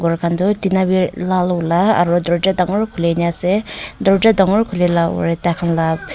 khan tu tina bhi lal vala aru darvaza dagur hoi keni ase darvaza dagur kori laga tar khan laga--